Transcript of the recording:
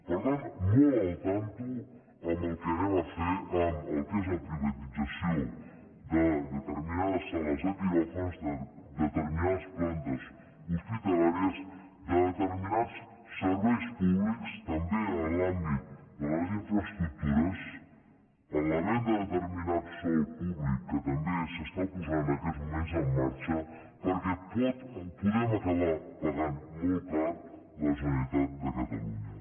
per tant compte amb el que anem a fer en el que és la privatització de determinades sales de quiròfans de determinades plantes hospitalàries de determinats serveis públics també en l’àmbit de les infraestructures en la venda de determinat sòl públic que també s’està posant en aquests moments en marxa perquè ho podem acabar pagant molt car la generalitat de catalunya